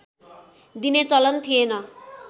दिने चलन थिएन